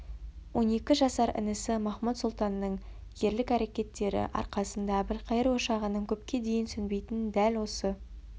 он екі жасар інісі махмұт-сұлтанның ерлік әрекеттері арқасында әбілқайыр ошағының көпке дейін сөнбейтінін дәл осы